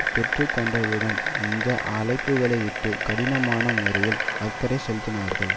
பெற்றுக்கொண்டதுடன் இந்த அழைப்புகளையிட்டு கடினமான முறையில் அக்கறை செலுத்தினார்கள்